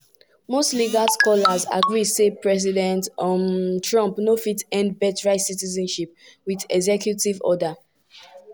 most legal scholars agree say president um trump no fit end birthright citizenship wit executive order.